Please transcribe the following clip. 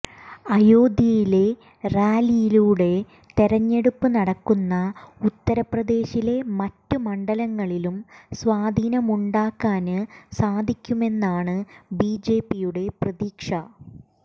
അയോധ്യയിലെ റാലിയിലൂടെ തെരഞ്ഞെടുപ്പ് നടക്കുന്ന ഉത്തര് പ്രദേശിലെ മറ്റ് മണ്ഡലങ്ങളിലും സ്വാധീനമുണ്ടാക്കാന് സാധിക്കുമെന്നാണ് ബിജെപിയുടെ പ്രതീക്ഷ